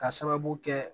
Ka sababu kɛ